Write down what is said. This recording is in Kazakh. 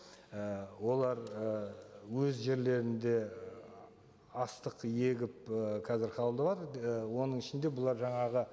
і олар і өз жерлерінде і астық егіп ы қазір і оның ішінде бұлар жаңағы